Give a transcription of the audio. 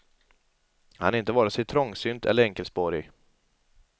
Han är inte vare sig trångsynt eller enkelspårig.